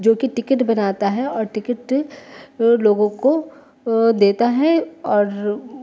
जोकि टिकट बनाता है और टिकट लोगो को देता है और--